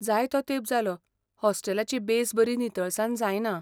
जायतो तेंप जालो हॉस्टेलाची बेस बरी नितळसाण जायना.